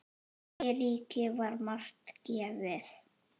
Eiríki var margt gefið.